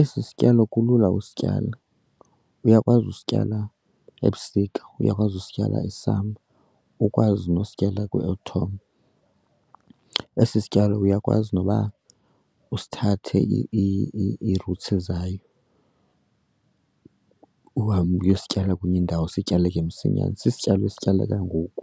Esi sityalo kulula usityala, uyakwazi usityala ebusika, uyakwazi usityala e-summer, ukwazi nosityala kwi-autumn. Esi sityalo uyakwazi noba usithathe ii-roots zayo uhambe uyosityala kwenye indawo sityaleke msinyane, sisityalo esityaleka ngoku,